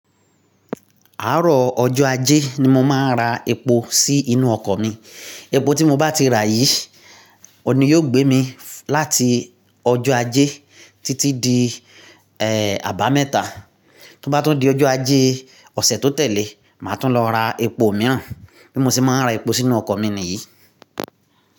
Àárọ̀ ọjọ́ ajé ni mo máa ń ra epo sí inú ọkọ̀ mi. Epo tí mo bá ti rà yìí ni yóò gbé mi láti ọjọ́ ajé títí di, ẹ́, àbámẹ́ta. Tó bá tún di ọjọ́ ajé ọ̀sẹ̀ tó tẹ̀lé, màá tún lọ ra epo mìíràn. Bí mo ṣe máa ń ra epo sínú ọkọ̀ mi nìyí.